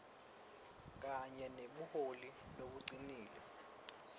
kanye nebuholi lobucinile